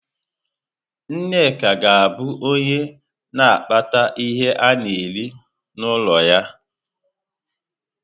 Nneka ga-abụ onye na-akpata ihe ana-eri n'ụlọ ya.